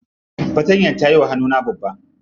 Fatantayar ta yiwa hannuna babba.